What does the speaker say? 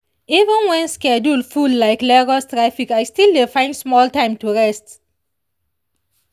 even when schedule full like lagos traffic i still dey find small time to rest.